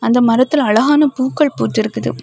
இந்த மரத்துல அழகான பூக்கள் பூத்திருக்குது.